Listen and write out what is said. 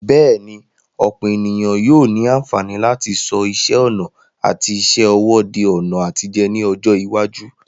Bẹ́ẹ̀ni, ọ̀pọ̀ ènìyàn yóò ní àǹfààní láti sọ iṣẹ́ ọnà àti iṣẹ́ ọwọ́ di ọ̀nà àtijẹ ní ọjọ́ iwájú.